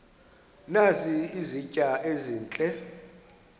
nazi izitya ezihle